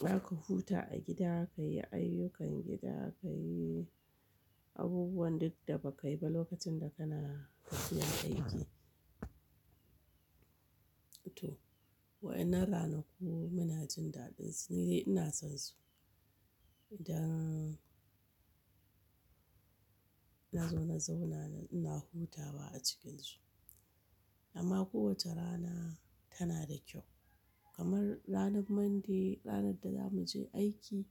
Zaka huta a gida, ka yi ayyukan gida, ka yi abubuwan duk da ba ka yi ba lokacin da kana zuwa aiki. To wa'innan ranaku muna jin daɗin su ni dai ina son su. Idan nazo na zauna na ina hutawa a cikinsu. Amma kowace rana tana da kyau kamar ranar Monday ranar da zamu je aiki.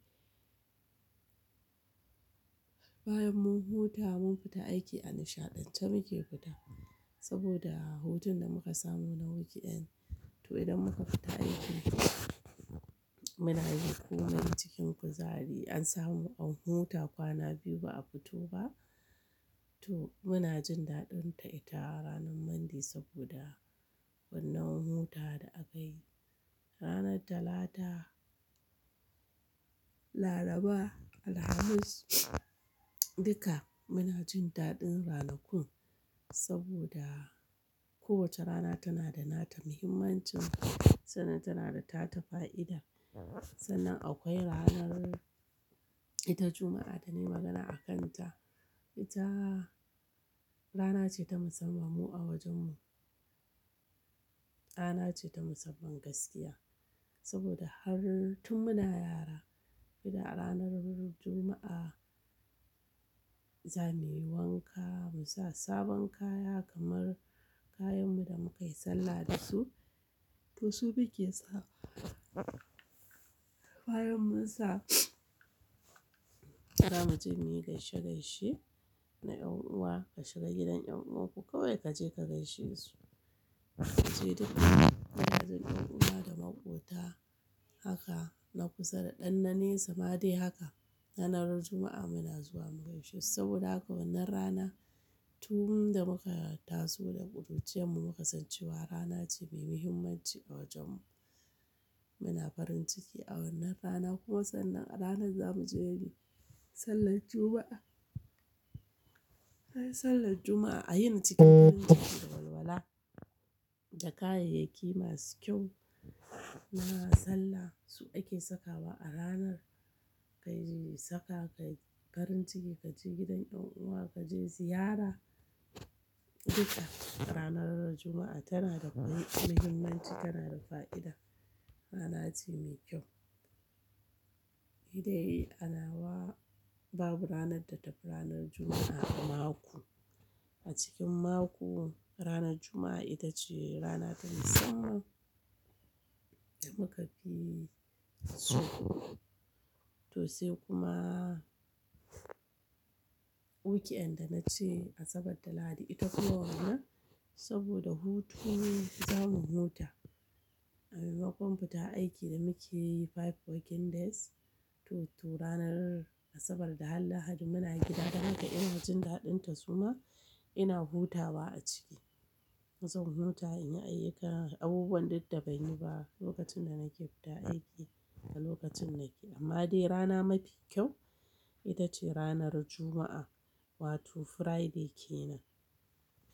Bayan mun huta mun fita aiki a nishaɗantar muke fita saboda hutun da muka samu na weekend. To idan muka fita aiki muna yin komai cikin kuzari an samu an huta kwana biyu ba a fito ba. To muna jin daɗin ta ita ranar Monday saboda wannan hutawar da aka yi. Ranar Talata, Laraba, Alhamis duka muna jin daɗin ranakun saboda kowace rana tana da nata muhimmancin, sannan tana da ta ta fa'ida. Sannan akwai ranar ita Juma'a da nayi magana akan ta. Ita rana ce ta musamman mu a wajen mu. Rana ce ta musamman gaskiya saboda har tun muna yara idan ranar Juma'a zamuyi wanka mu sa sabon kaya kamar kayan mu da muka yi sallah dasu. To su muke sawa bayan mun sa zamu je muyi gaishe gaishe na 'yan uwa ka shiga gidan 'yan uwan ku kawai kaje ka gaishe su. Kaje duka wajejen ‘yan uwa da maƙota haka na kusa da ɗan na nesa ma dai haka. Ranar Juma'a muna zuwa mu gaishesu saboda haka wannan rana tun da muka taso da ƙuruciyan mu muka san cewa rana ce mai muhimmanci a wajen mu. Muna farin ciki a wannan rana kuma sannan aranar zamu je muyi sallar Juma'a. Bayan sallar Juma'a a yina cikin farin ciki da walwala da kayayyaki masu kyau na sallah su ake sakawa a ranar kayi saka ka yi farin ciki kaje gidan 'yan uwa kaje ziyara. Duka ranar Juma'a tana da kwai muhimmanci tana da fa'ida rana ce mai kyau. Ni dai ana wa babu ranar da tafi ranar Juma'a a mako. A cikin mako ranar Juma'a ita ce rana ta musamman da muka fi so. To sai kuma weekend da nace Asabar da Lahadi ita kuma wannan saboda hutu zamu huta. A maimakon fita aiki da mukeyi five working days to ranar Asabar da har Lahadi muna gida don haka ina jin daɗin ta suma ina hutawa a ciki. Zan huta in yi ayyuka abubuwan duk da ban yi ba lokacin da nake fita aiki a lokacin nake. Amma dai rana mafi kyau ita ce ranar Juma'a wato Friday kenan.